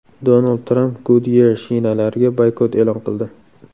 Donald Tramp Goodyear shinalariga boykot e’lon qildi.